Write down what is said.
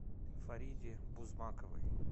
фариде бузмаковой